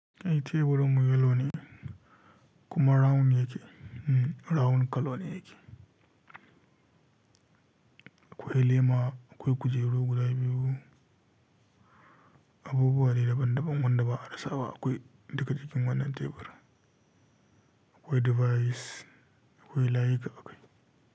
Ai teburin mu yellow ne, kuma round yake, round colour ne yake. Akwai laima, akwai kujeru guda biyu. Abubuwa dai daban daban wanda ba a rasa ba akwai, duka jikin wannan tebur. Akwai device, akwai layika akai.